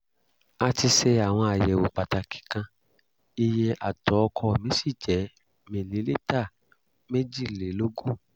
a ti ṣe àwọn àyẹ̀wò pàtàkì kan iye atọ̀ ọkọ mi sì jẹ́ mìlílítà méjìlélógún